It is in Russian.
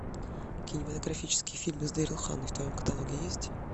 кинематографические фильмы с дэрил ханной в твоем каталоге есть